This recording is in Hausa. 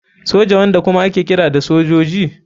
Soja, wanda kuma ake kira da sojoji.